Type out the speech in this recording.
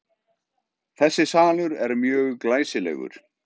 Þessi salur er mjög glæsilegur.